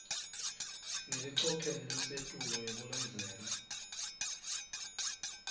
ngelicophelo lelisetulu ngekulandzela